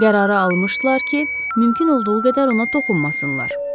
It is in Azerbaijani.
Qərarı almışdılar ki, mümkün olduğu qədər ona toxunmasınlar.